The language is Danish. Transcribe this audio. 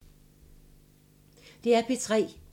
DR P3